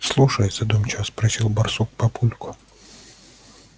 слушай задумчиво спросил барсук папульку